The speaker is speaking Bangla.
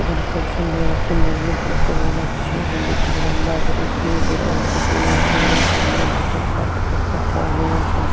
এখানে খুব সুন্দর একটি মন্দির দেখতে পাওয়া যাচ্ছে। মন্দিরটি লম্বা করে শুরু করে উপর দিয়ে উঠে গিয়েছে মন্দিরটির চার ধারে পাতলা হয়ে আছে ।